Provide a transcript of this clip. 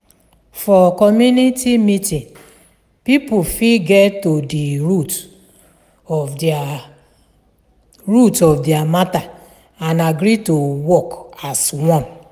for community meeting pipo fit get to di root of their root of their matter and agree to work as one